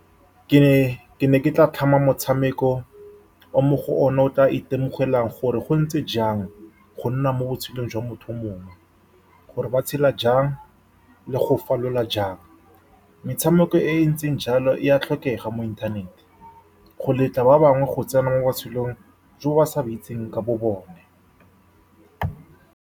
Ke ne, ke ne ke tla tlhama motshameko o, mo go one o tla itemogelang gore go ntse jang go nna mo botshelong jwa motho o mongwe, gore ba tshela jang le go falola jang. Metshameko e e ntseng jalo e a tlhokega mo inthanete go letla ba bangwe go tsena mo botshelong jo ba sa bo itseng ka bobone.